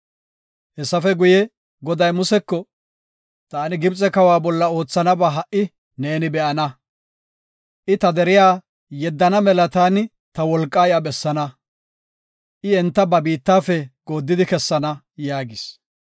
Hessafe guye, Goday Museko, “Taani Gibxe kawa bolla oothanaba ha77i neeni be7ana. I ta deriya yeddana mela taani ta wolqaa iya bessaana. I enta ba biittafe gooddidi kessana” yaagis.